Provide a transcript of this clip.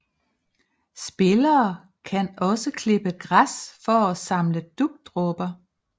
Spillere kan også klippe græs for at samle dugdråber